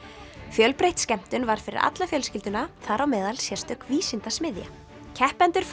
fjölbreytt skemmtun var fyrir alla fjölskylduna þar á meðal sérstök vísindasmiðja keppendur